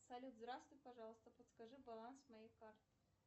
салют здравствуй пожалуйста подскажи баланс моей карты